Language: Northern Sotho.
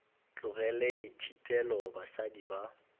tlogele di šitile basadi ba